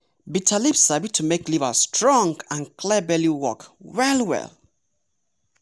bitter leaf sabi to make liver strong and clear belly work well well.